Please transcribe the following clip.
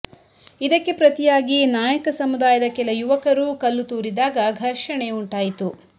ಇದಕ್ಕೆ ಪ್ರತಿಯಾಗಿ ನಾಯಕ ಸಮುದಾಯದ ಕೆಲ ಯುವಕರೂ ಕಲ್ಲು ತೂರಿದಾಗ ಘರ್ಷಣೆ ಉಂಟಾಯಿತು